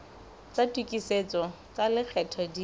tsa tokisetso tsa lekgetho di